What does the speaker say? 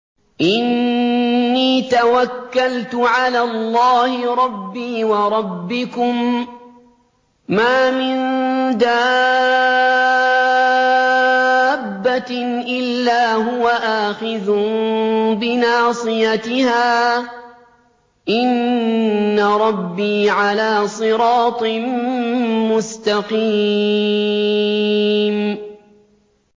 إِنِّي تَوَكَّلْتُ عَلَى اللَّهِ رَبِّي وَرَبِّكُم ۚ مَّا مِن دَابَّةٍ إِلَّا هُوَ آخِذٌ بِنَاصِيَتِهَا ۚ إِنَّ رَبِّي عَلَىٰ صِرَاطٍ مُّسْتَقِيمٍ